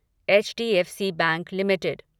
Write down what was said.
HDFC bank limited